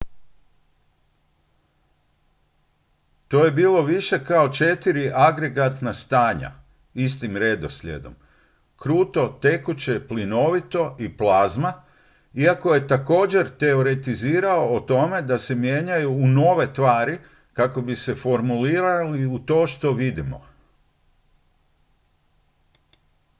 to je bilo više kao četiri agregatna stanja istim redoslijedom: kruto tekuće plinovito i plazma iako je također teoretizirao o tome da se mijenjaju u nove tvari kako bi se formirali u to što vidimo